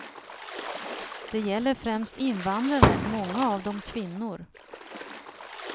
Det gäller främst invandrare, många av dem kvinnor.